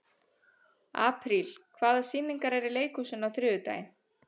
Apríl, hvaða sýningar eru í leikhúsinu á þriðjudaginn?